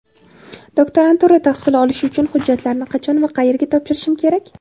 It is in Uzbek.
Doktoranturada tahsil olish uchun hujjatlarni qachon va qayerga topshirishim kerak?.